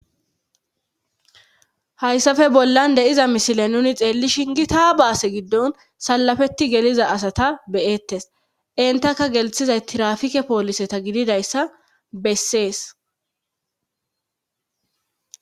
Hayssafe bollan deiza misile nuni xeelli shingi taa baase giddon salafetti geliza asata beyettes intaka gelthizay trafike pooliseta gididayssa bessees.